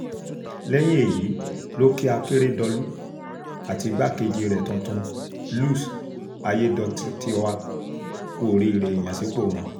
lẹ́yìn èyí ló kí akérèdọ́lù àti igbákejì rẹ̀ tuntun luc aiyedọtaiwa kú oríire ìyànsípò wọn